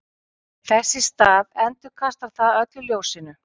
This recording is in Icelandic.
þess í stað endurkastar það öllu ljósinu